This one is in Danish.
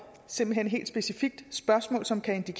simpelt hen helt specifikt spørgsmål som kan